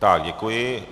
Tak děkuji.